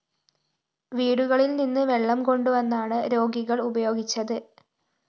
വീടുകളില്‍ നിന്ന് വെള്ളം കൊണ്ടുവന്നാണ് രോഗികള്‍ ഉപയോഗിച്ചത്